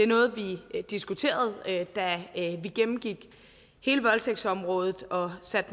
noget vi diskuterede da vi gennemgik hele voldtægtsområdet og satte